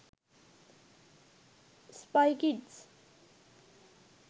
spy kids